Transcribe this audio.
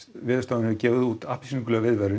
Veðurstofan hefur gefið út appelsínugula viðvörun